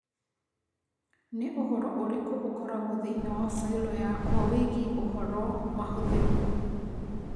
Nĩ ũhoro ũrĩkũ ũkoragwo thĩinĩ wa failo yakwa wĩgiĩ ũhoro mahũthĩrũo